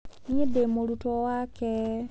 Niĩ ndĩ mũrutwo wake.